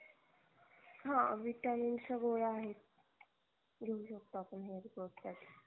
हा vitamins च्या गोळ्या आहेत घेऊ शकतो आपण hair growth साठी